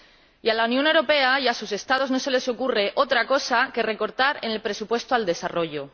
Y a la Unión Europea y a sus Estados no se les ocurre otra cosa que recortar el presupuesto de ayuda al desarrollo.